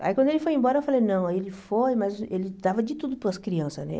Aí quando ele foi embora, eu falei, não, aí ele foi, mas ele dava de tudo para as crianças, né?